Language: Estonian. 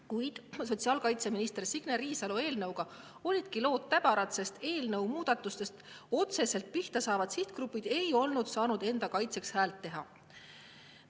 Kuid sotsiaalkaitseminister Signe Riisalo eelnõuga olid lood täbarad, sest eelnõus muudatustega otseselt pihta saavad sihtgrupid ei olnud saanud enda kaitseks häält teha.